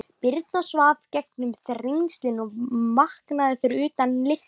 Birna svaf í gegnum Þrengslin og vaknaði fyrir utan Litla-Hraun.